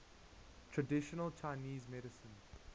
traditional chinese medicine